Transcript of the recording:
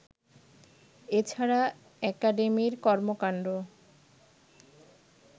এ ছাড়া একাডেমির কর্মকাণ্ড